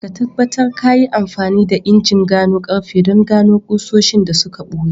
Ahmad, ka tabbatar ka yi amfani da injin gano karfe don gano ƙusoshin da suka ɓuya